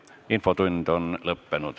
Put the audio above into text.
Infotund on lõppenud.